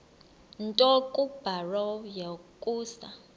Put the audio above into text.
nto kubarrow yokusa